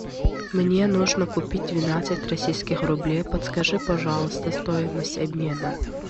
мне нужно купить двенадцать российских рублей подскажи пожалуйста стоимость обмена